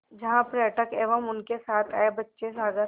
जहाँ पर्यटक एवं उनके साथ आए बच्चे सागर